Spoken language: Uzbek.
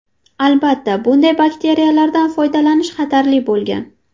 Albatta, bunday batareykalardan foydalanish xatarli bo‘lgan.